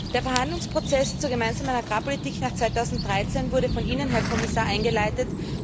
Der Verhandlungsprozess zur Gemeinsamen Agrarpolitik nach 2013 wurde von Ihnen, Herr Kommissar, eingeleitet.